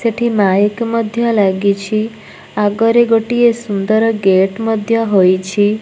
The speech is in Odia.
ସେଠି ମାଇକ୍ ମଧ୍ୟ ଲାଗିଛି। ଆଗରେ ଗୋଟିଏ ସୁନ୍ଦର ଗେଟ୍ ମଧ୍ୟ ହୋଇଛି।